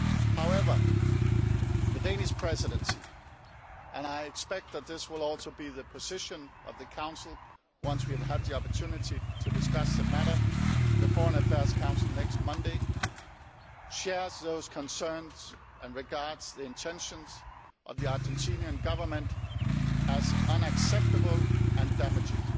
However, the Danish Presidency and I expect this will also be the position of the Council once we have had the opportunity to discuss the matter in the Foreign Affairs Council next Monday shares those concerns and regards the intentions of the Argentinian Government as unacceptable and damaging.